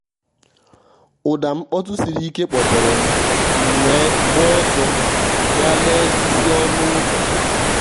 ụ́dà mkpọtụ siri ike kpọ́tèrè m m wee gbaa ọ́sọ́ gà lèè isi ọnụ́ ụ́zọ̀.